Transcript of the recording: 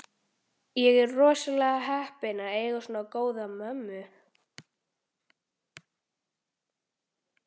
Þú ert rosalega heppinn að eiga svona góða mömmu.